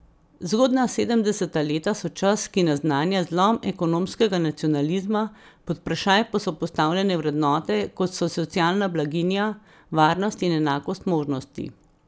Zgodnja sedemdeseta leta so čas, ki naznanja zlom ekonomskega nacionalizma, pod vprašaj pa so postavljene vrednote, kot so socialna blaginja, varnost in enakost možnosti.